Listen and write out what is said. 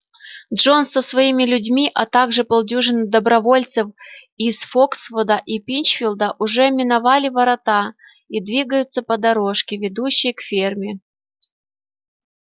джонс со своими людьми а также полдюжины добровольцев из фоксвуда и пинчфилда уже миновали ворота и двигаются по дорожке ведущей к ферме